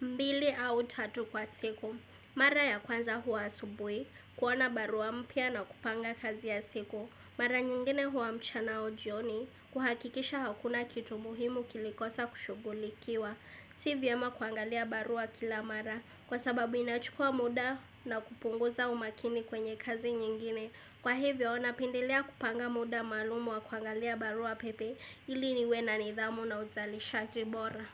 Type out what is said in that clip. mbili au tatu kwa siku. Mara ya kwanza huwa asubui, kuona barua mpya na kupanga kazi ya siku. Mara nyingine huwa mchana au jioni, kuhakikisha hakuna kitu muhimu kilikosa kushugulikiwa. Si vyema kuangalia barua kila mara, kwa sababu inachukua muda na kupunguza umakini kwenye kazi nyingine. Kwa hivyo, na pendelea kupanga muda maalumu wa kuangalia barua pepe, ili niwe na nidhamu na uzalishaji bora.